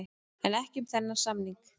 En ekki um þennan samning.